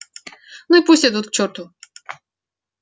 ну и пусть идут к чёрту